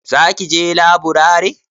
Za ki je laburare?